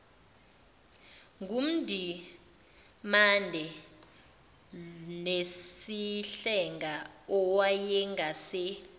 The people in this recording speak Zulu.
ngundimande nesihlenga owayengase